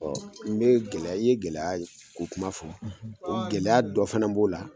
Ɔ n be gɛlɛya i ye gɛlɛya k'o kuma fɔ o gɛlɛya dɔ fana b'o la